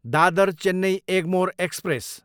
Dadar, Chennai Egmore express